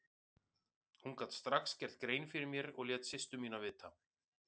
Hún gat strax gert grein fyrir mér og lét systur mína vita.